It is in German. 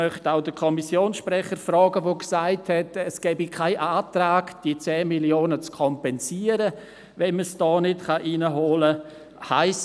– Der Kommissionssprecher hat gesagt, es gebe keinen Antrag auf Kompensation dieser 10 Mio. Franken, wenn man sie hier nicht hereinholen könne.